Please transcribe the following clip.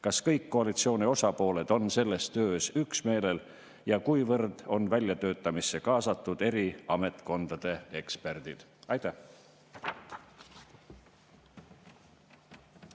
Kas kõik koalitsiooni osapooled on selles töös üksmeelel ja kuivõrd on väljatöötamisse kaasatud eri ametkondade eksperdid?